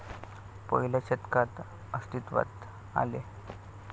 पहिल्या शतकात अस्तित्वात आले.